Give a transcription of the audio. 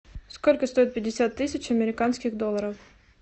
сколько стоит пятьдесят тысяч американских долларов